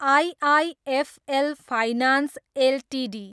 IIFL finance Ltd